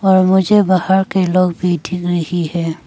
और मुझे बाहर के लोग भी रही है।